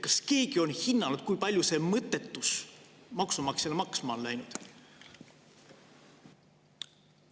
Kas keegi on hinnanud, kui palju see mõttetus maksumaksjale maksma on läinud?